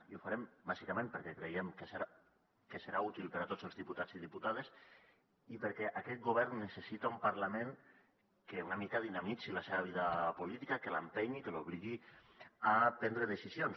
i ho farem bàsicament perquè creiem que serà útil per a tots els diputats i diputades i perquè aquest govern necessita un parlament que una mica dinamitzi la seva vida política que l’empenyi i que l’obligui a prendre decisions